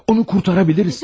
Onu qurtara biləriz.